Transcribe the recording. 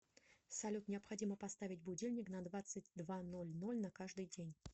салют необходимо поставить будильник на двадцать два ноль ноль на каждый день